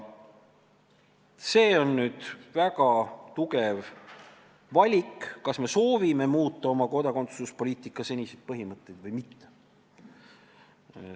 See on nüüd väga oluline valik, et kas me soovime muuta oma seniseid kodakondsuspoliitika põhimõtteid või mitte.